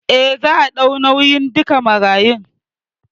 Eh, za a ɗau nauyin duka marayun